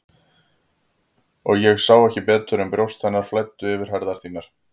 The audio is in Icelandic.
Og ég sá ekki betur en brjóst hennar flæddu yfir herðar þínar.